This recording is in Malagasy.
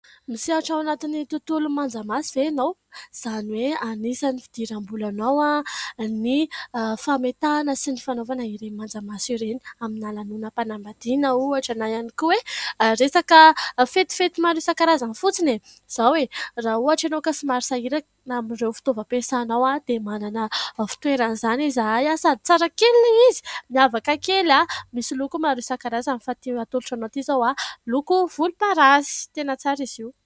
Misehatra ao anatin'ny tontolon'ny manjamaso ve ianao ? Izany hoe anisan'ny fidiram-bolanao ny fametahana sy ny fanaovana ireny manjamaso ireny amina lanonam-panambadiana ohatra na ihany koa hoe resaka fetifety maro isan-karazany fotsiny. Izao e ! Raha ohatra ianao ka somary amin'ireo fitaovam-piasanao dia manana fitoeran'izany izahay, sady tsara kely ilay izy ! Miavaka kely, misy loko maro isan-karazany fa ity atolotro anao ity izao volomparasy. Tena tsara izy io.